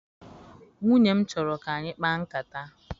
Nwunye m chọrọ ka anyị kpaa nkata.